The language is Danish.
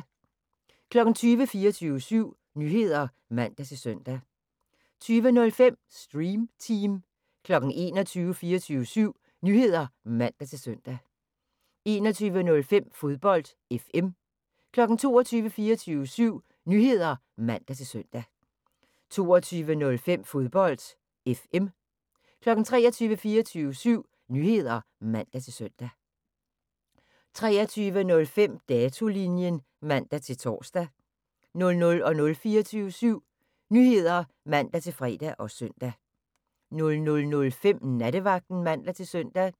20:00: 24syv Nyheder (man-søn) 20:05: Stream Team 21:00: 24syv Nyheder (man-søn) 21:05: Fodbold FM 22:00: 24syv Nyheder (man-søn) 22:05: Fodbold FM 23:00: 24syv Nyheder (man-søn) 23:05: Datolinjen (man-tor) 00:00: 24syv Nyheder (man-fre og søn) 00:05: Nattevagten (man-søn)